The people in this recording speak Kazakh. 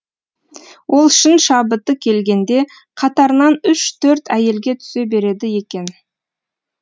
ол шын шабыты келгенде қатарынан үш төрт әйелге түсе береді екен